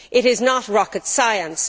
It is not rocket science.